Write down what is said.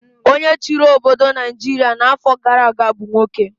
Onye chịrị obodo Naijiria n'afọ gara aga bụ nwoke.